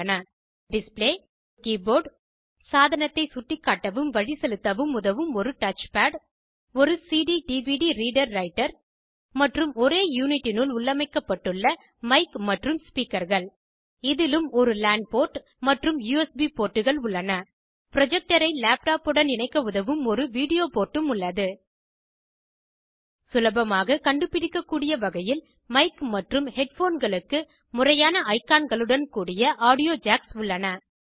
பின்வருவன உட்பட ஒரு டிஸ்ப்ளே ஒரு கீபோர்ட் சாதனத்தை சுட்டிக்காட்டவும் வழிசெலுத்தவும் உதவும் ஒரு டச்பேட் ஒரு cdடிவிடி ரீடர் ரைட்டர் மற்றும் ஒரே யூனிட்டினுள் உள்ளமைக்கப்பட்டுள்ள மைக் மற்றும் ஸ்பீக்கர்கள் இதிலும் ஒரு லான் போர்ட் மற்றும் யுஎஸ்பி போர்ட்டுகள் உள்ளன ப்ரொஜக்டரை லேப்டாப் உடன் இணைக்க உதவும் ஒரு வீடியோ போர்ட்டும் உள்ளது சுலபமாக கண்டுபிடிக்கக்கூடிய வகையில் மைக் மற்றும் ஹெட்ஃபோன்களுக்கு முறையான ஐகான்களுடன் கூடிய ஆடியோ ஜேக்ஸ் உள்ளன